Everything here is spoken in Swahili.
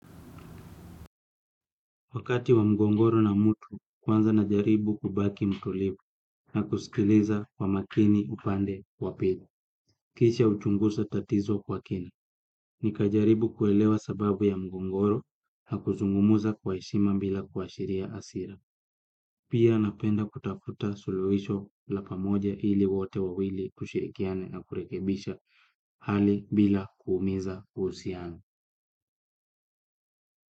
Wakati wa mgogoro na mtu kwanza na jaribu kubaki mtulivu na kusikiliza kwa makini upande wa pili. Kisha huchunguza tatizo kwa kina. Nikajaribu kuelewa sababu ya mgogoro na kuzungumuza kwa heshima bila kuashiria hasira. Pia napenda kutafuta suluhisho la pamoja ili wote wawili kushirikiana na kurekebisha hali bila kuumiza uhusiano.